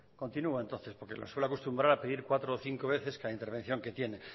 continúo entonces porque suelo acostumbrar a pedir cuatro o cinco veces en cada intervención que tiene